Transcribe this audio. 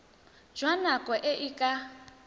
jwa nako e e ka